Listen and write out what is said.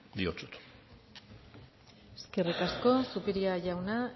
diotsut eskerrik asko zupiria jauna